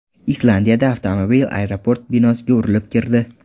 Islandiyada avtomobil aeroport binosiga urilib kirdi.